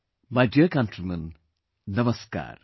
My dear countrymen, Namaskar